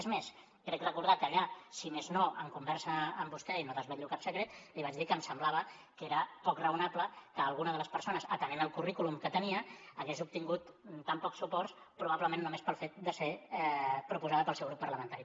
és més crec recordar que allà si més no en conversa amb vostè i no desvetllo cap secret li vaig dir que em semblava que era poc raonable que alguna de les persones atenent el currículum que tenia hagués obtingut tan pocs suports probablement només pel fet de ser proposada pel seu grup parlamentari